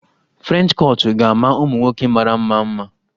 French kọtụ ga-ama ụmụ nwoke mara mma mma